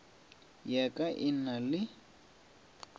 ya ka e na le